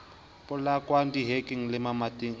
polakwang dihekeng le mamating a